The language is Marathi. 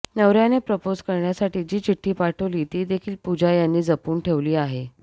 नवऱ्याने प्रपोझ करण्यासाठी जी चिठ्ठी पाठवली ती देखील पूजा यांनी जपून ठेवली आहे